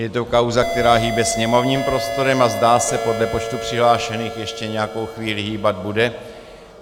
Je to kauza, která hýbe sněmovním prostorem a zdá se podle počtu přihlášených ještě nějakou chvíli hýbat bude.